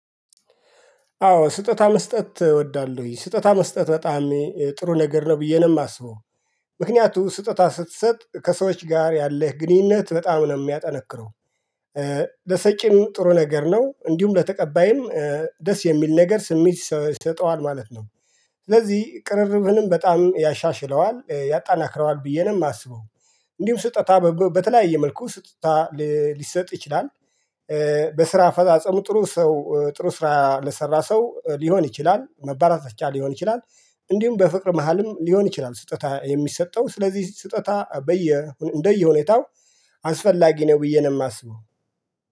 አዎ ስጦታ መስጠት እወዳለሁኝ ስጦታ መስጠት በጣም ጥሩ ነገር ነው ብዬ ነው የማስበው ምክንያቱም ስጦታ ስትሰጥ ከሰዎች ጋር ያለህ ግንኙነት በጣም ነው የሚያጠነክረው። ለሰጪም ጥሩ ነገር ነው እንዲሁም ለተቀባይም ደስ የሚል ነገር ስሜት ይሰጠዋል ማለት ነው። ስለዚህ ቅርርብህንም በጣም ያሻሽለዋል ያጠናክረዋል ብዬ ነው የማስበው። እንዲሁም ስጦታ በተለያየ መልኩ ስጦታ ሊሰጥ ይችላል። በስራ አፈጻጸሙ ጥሩ ሰው ጥሩ ስራ ለሰራ ሰው ሊሆን ይችላል መበረታቻ ሊሆን ይችላል። እንዲሁም በፍቅር መሃልም ሊሆን ይችላል ስጦታ የሚሰጠው ስለዚህ ስጦታ በየ እንደየ ሁኔታው አስፈላጊ ነው ብዬ ነው የማስበው